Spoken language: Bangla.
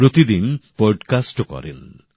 প্রতিদিনর পডকাস্টও করেন